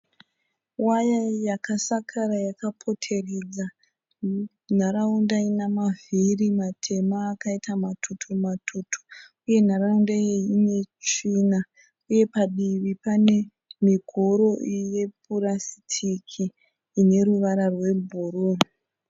Waya yakasakara yakapoteredza nharaunda ina mavhiri matema akaita matutu matutu uye nharaunda iyi ine tsvina uye padivi pane migoro yepurasitiki ine ruvara rwebhuruu